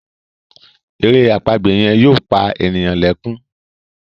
èrè àpagbè yen yóò pá ènìyàn lè kún.